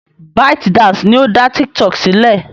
ByteDance ni ó dá TikTok sílẹ̀.